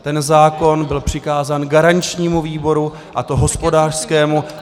Ten zákon byl přikázán garančnímu výboru, a to hospodářskému.